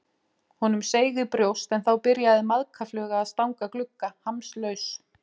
Honum seig í brjóst en þá byrjaði maðkafluga að stanga glugga, hamslaus.